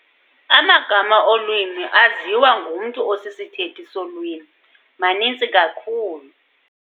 Amagama olwimi aziwa ngumntu osisithethi solwimi maninzi kakhulu.